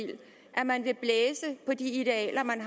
at man vil blæse på de idealer man